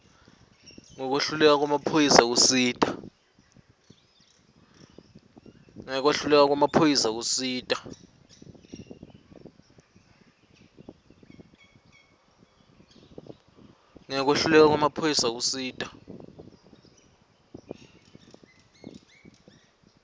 ngekwehluleka kwemaphoyisa kusita